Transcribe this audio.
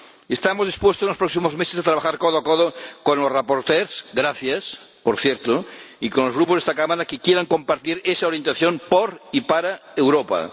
Estamos dispuestos en los próximos meses a trabajar codo a codo con los ponentes —gracias, por cierto— y con los grupos de esta Cámara que quieran compartir esa orientación por y para Europa.